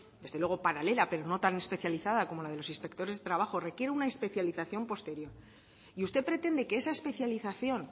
desde luego paralela pero no tan especializada como la de los inspectores de trabajo requiere una especialización posterior y usted pretende que esa especialización